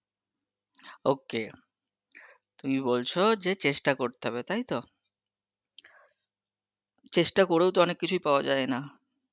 ok, তুমি বলছো যে চেষ্টা করতে হবে তাইত, চেষ্টা করেও তো অনেক কিছুই পাওয়া জায়েনা.